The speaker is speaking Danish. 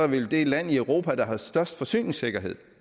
vi det land i europa der har størst forsyningssikkerhed